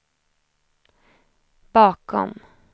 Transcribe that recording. bakom